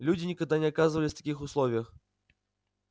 люди никогда не оказывались в таких условиях